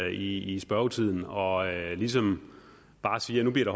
i i spørgetiden og ligesom bare siger at nu bliver